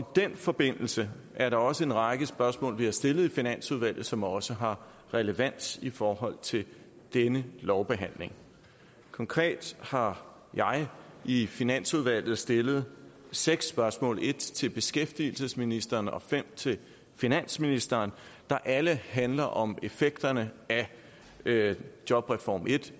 den forbindelse er der også en række spørgsmål vi har stillet i finansudvalget som også har relevans i forhold til denne lovbehandling konkret har jeg i finansudvalget stillet seks spørgsmål et til beskæftigelsesministeren og fem til finansministeren der alle handler om effekterne af jobreform i